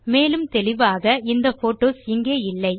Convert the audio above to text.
மேலும் தெளிவாக இந்த போட்டோஸ் இங்கே இல்லை